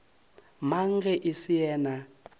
mang ge e se yena